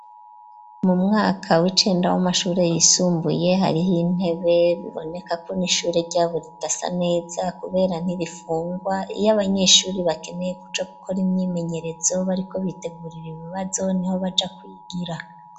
Mu mwaka w'icenda w'amashure yisumbuye hariho intebe biboneka ko n'ishure ryabo ridasa neza kubera ntirifungwa iyo abanyeshuri bakeneye kuja gukora imyimenyerezo bariko bitegurira ibibazo niho baja kwigira.